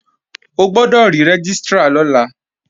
O gbọ́dọ̀ rí Rẹ́gístrà lọ́la!